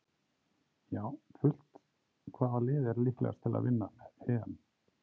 Já fullt Hvaða lið er líklegast til að vinna EM?